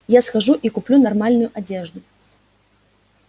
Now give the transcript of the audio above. я схожу и куплю нормальную одежду